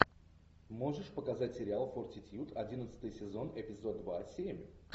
можешь показать сериал фортитьюд одиннадцатый сезон эпизод два семь